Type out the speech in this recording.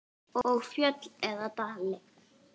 Og fjöll eða dali?